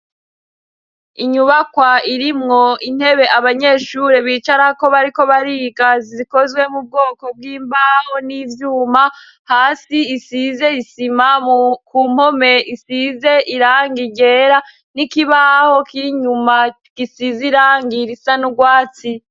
Inyubakwa irimwo intebe abanyeshure bicara ko bariko bariga, zikozwe mu bwoko bw'imbaho n'ivyuma; hasi isize isima ku mpome isize irangi ryera n'ikibaho kiri inyuma gisize irangi risa n'urwatsi.